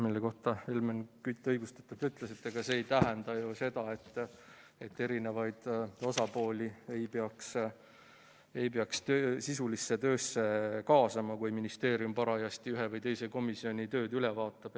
Selle peale Helmen Kütt õigustatult ütles, et ega see ei tähenda ju seda, et eri osapooli ei peaks sisulisse töösse kaasama, kui ministeerium parajasti ühe või teise komisjoni tööd üle vaatab.